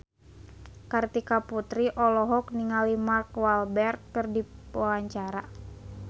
Kartika Putri olohok ningali Mark Walberg keur diwawancara